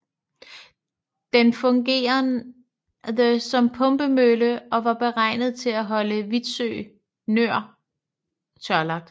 Den fungerede som pumpemølle og var beregnet til at holde Vitsø Nor tørlagt